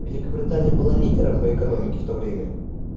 великобритания была лидером по экономике в то время